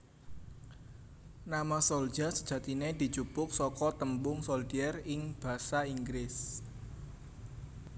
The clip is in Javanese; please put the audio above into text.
Nama Souljah sejatine dijupuk saka tembung soldier ing basa Inggris